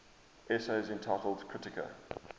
essays entitled kritika